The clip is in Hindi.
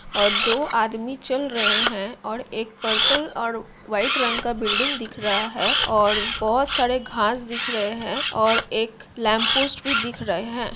और दो आदमी चल रहे है और एक पर्पल और वाइट रंग का बिल्डिंग दिख रहा है और बहुत सारे घास दिख रहे हैं और एक लैंप पोस्ट भी दिख रहे हैं।